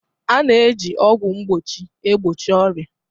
A na-eji ọgwụ mgbochi egbochi ọrịa.